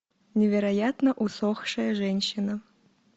невероятно усохшая женщина